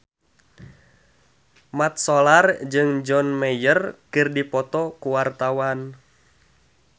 Mat Solar jeung John Mayer keur dipoto ku wartawan